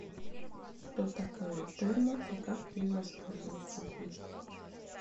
что такое терма и как ею воспользоваться здесь